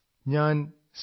ഞാൻ ശ്രീ